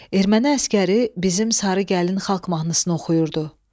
Erməni əsgəri bizim Sarı Gəlin xalq mahnısını oxuyurdu.